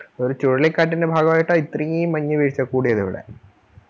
ഒരു ചുഴലിക്കാറ്റിൻറെ ഭഗവായിട്ടാ ഇത്രയും മഞ്ഞ് വീഴ്‌ച കൂടിയതിവിടെ